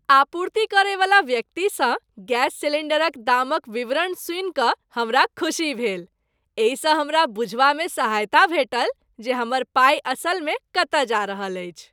आपूर्ति करैवला व्यक्तिसँ गैस सिलिन्डरक दामक विवरण सुनिकऽ हमरा खुसी भेल। एहिसँ हमरा बुझबामे सहायता भेटल जे हमर पाइ असलमे कतऽ जा रहल अछि।